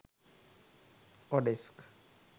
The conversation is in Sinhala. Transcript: odesk